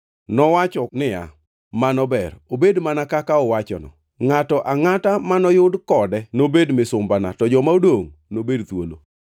Nowacho niya, “Mano ber, obed mana kaka uwachono. Ngʼato angʼata manoyud kode nobed misumbana, to joma odongʼ nobed thuolo.”